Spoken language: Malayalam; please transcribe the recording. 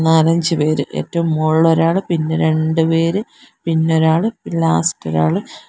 നാലഞ്ച്പേര് ഏറ്റവും മോൾല് ഒരാള് പിന്നെ രണ്ടു പേര് പിന്നൊരാള് പിന്നെ ലാസ്റ്റ് ഒരാള്--